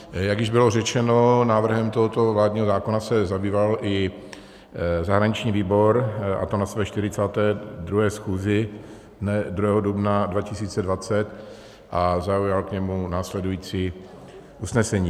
Jak již bylo řečeno, návrhem tohoto vládního zákona se zabýval i zahraniční výbor, a to na své 42. schůzi dne 2. dubna 2020, a zaujal k němu následující usnesení.